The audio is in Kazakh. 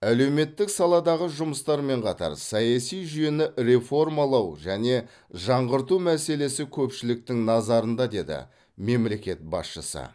әлеуметтік саладағы жұмыстармен қатар саяси жүйені реформалау және жаңғырту мәселесі көпшіліктің назарында деді мемлекет басшысы